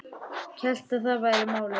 Hélt að það væri málið.